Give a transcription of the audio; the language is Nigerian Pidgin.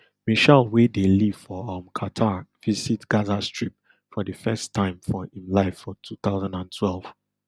meshaal wey dey live for um qatar visit gaza strip for di first time for im life for two thousand and twelve